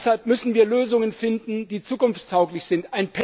Und deshalb müssen wir Lösungen finden, die zukunftstauglich sind.